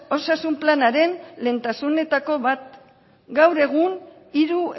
osasun planaren lehentasunetako bat gaur egun hiru